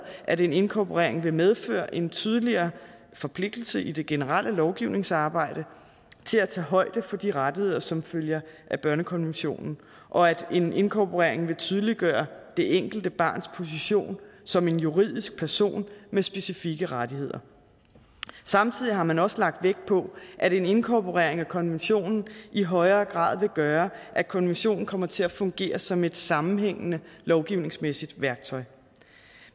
at en inkorporering vil medføre en tydeligere forpligtelse i det generelle lovgivningsarbejde til at tage højde for de rettigheder som følger af børnekonventionen og at en inkorporering vil tydeliggøre det enkelte barns position som en juridisk person med specifikke rettigheder samtidig har man også lagt vægt på at en inkorporering af konventionen i højere grad vil gøre at konventionen kommer til at fungere som et sammenhængende lovgivningsmæssigt værktøj